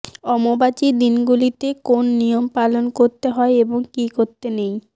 অম্বুবাচীর দিনগুলিতে কোন নিয়ম পালন করতে হয় এবং কী করতে নেই